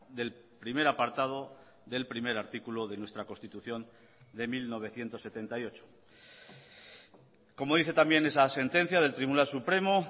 del primer apartado del primer artículo de nuestra constitución de mil novecientos setenta y ocho como dice también esa sentencia del tribunal supremo